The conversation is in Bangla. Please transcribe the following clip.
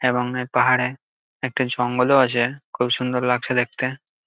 এবং এ পাহাড়ে একটা জঙ্গলও আছে খুব সুন্দর লাগছে দেখতে।